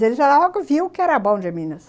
Ele já logo viu o que era bom de Minas.